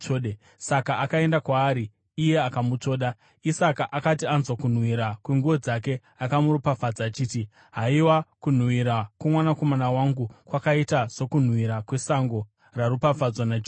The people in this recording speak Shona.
Saka akaenda kwaari iye akamutsvoda. Isaka akati anzwa kunhuhwira kwenguo dzake akamuropafadza achiti, “Haiwa kunhuhwira kwomwanakomana wangu kwakaita sokunhuhwira kwesango raropafadzwa naJehovha.